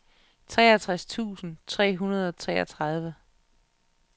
treogtres tusind tre hundrede og treogtredive